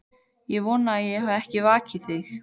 Ég vona ég hafi ekki vakið þig.